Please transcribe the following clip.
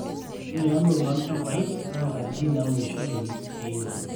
ore ilairemok loo ilchambai naa inkatitin naaunishoreki iing'or